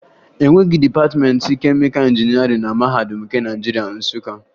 E nweghi dịpatịmentị kemịka injinịarịn na Mahadum nke Naịjirịa, Nsụka